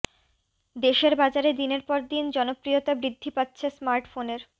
দেশের বাজারে দিনের পর দিন জনপ্রিয়তা বৃদ্ধি পাচ্ছে স্মার্টফোনের